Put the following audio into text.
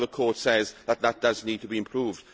I know the Court says that this does need to be improved.